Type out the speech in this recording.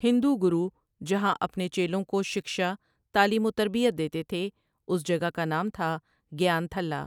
ہندو گرو جہاں اپنے چیلوں کو شکشہ تعلیم وتربیت دیتے تھے اس جگہ کا نام تھا گیان تھلہ ۔